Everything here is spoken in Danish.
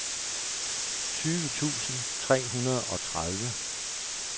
tyve tusind tre hundrede og tredive